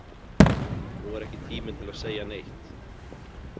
Nú er ekki tíminn til að segja neitt.